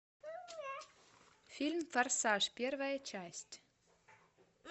фильм форсаж первая часть